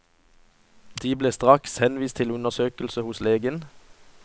De ble straks henvist til undersøkelse hos lege.